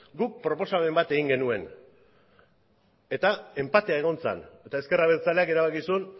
guk proposamen bat egin genuen eta enpatea egon zen eta ezker abertzaleak erabaki zuen